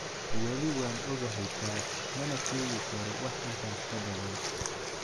"Weli waan ogahay taas mana sheegi karo wax intaas ka badan."